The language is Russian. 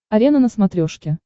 арена на смотрешке